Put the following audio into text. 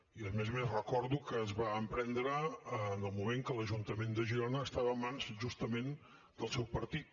i a més a més recordo que es va emprendre en el moment que l’ajuntament de girona estava en mans justament del seu partit